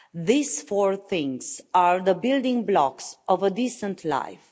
These four things are the building blocks of a decent life.